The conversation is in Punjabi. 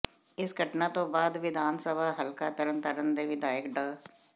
ਇਸ ਘਟਨਾ ਤੋਂ ਬਾਅਦ ਵਿਧਾਨ ਸਭਾ ਹਲਕਾ ਤਰਨਤਾਰਨ ਦੇ ਵਿਧਾਇਕ ਡਾ